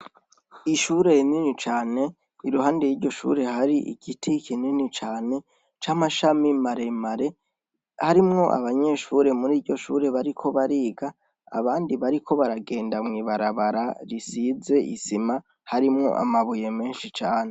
Ishure rinini cane iruhande y'iryo shure hari igiti kinini cane c'amashami maremare harimwo abanyeshure muri iryo shure bariko bariga abandi bariko baragenda mw'ibarabara risize isima harimwo amabuye menshi cane.